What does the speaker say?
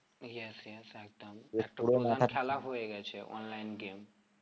yes yes একদম হয়ে গেছে online game